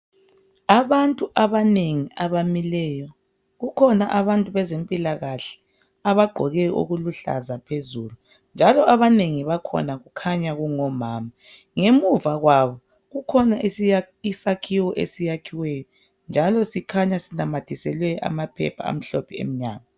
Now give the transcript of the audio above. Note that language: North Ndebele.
Abantu abanengi abamileyo, kukhona bantu bezempilakahle abagqoke okuluhlaza phezulu njalo abanengi bakhona kukhanya kungomama. Ngemuva kwabo kukhona isakhiwo esiyakhiweyo njalo sikhanya sinanyathiselwe amaphepha amhlophe emnyango.